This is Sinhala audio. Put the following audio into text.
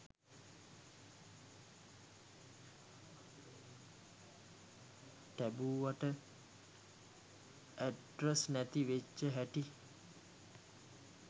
ටැබුවට ඇඩරස් නැති වෙච්ච හැටි